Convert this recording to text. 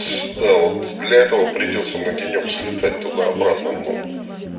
да вот для этого придётся на денёк слетать туда-обратно ну